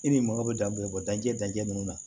E ni mago be danbe bɔ danjɛ danjɛ ninnu na